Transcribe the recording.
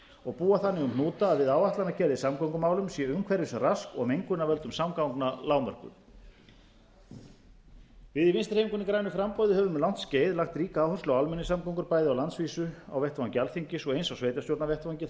og búa þannig um hnúta að við áætlanagerð í samgöngumálum sé umhverfisrask og mengun af völdum samgangna lágmörkuð við í vinstri hreyfingunni grænu framboði höfum um langt skeið lagt ríka áherslu á almenningssamgöngur bæði á landsvísu á vettvangi alþingis og eins á sveitarstjórnarvettvangi þar sem